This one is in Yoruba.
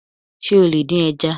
Sé o lè dín ẹja?